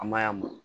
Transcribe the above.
An ma y'a mun